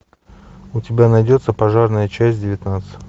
у тебя найдется пожарная часть девятнадцать